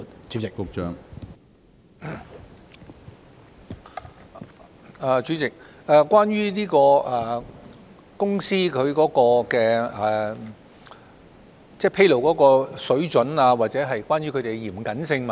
主席，我們明白議員關注到公司的披露水準，或他們作出披露時是否嚴謹的問題。